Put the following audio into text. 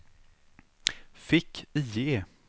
fick-IE